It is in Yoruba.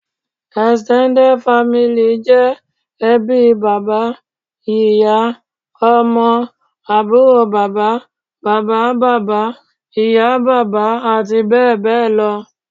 Extended family' jẹ́ ẹbí bàbá, ìyá, Ọmọ, àbúrò bàbá, bàbá bàbá, ìyá bàbá àti bẹ́ẹ̀bẹ́ẹ̀ lọ